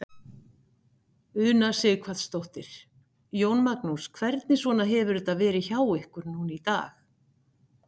Una Sighvatsdóttir: Jón Magnús, hvernig svona hefur þetta verið hjá ykkur núna í dag?